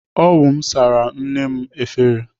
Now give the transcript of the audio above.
Ọ wụ mụ sara nne m efere.